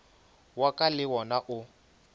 wa ka le wona o